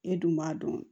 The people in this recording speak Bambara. E dun b'a dɔn